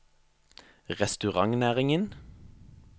restaurantnæringen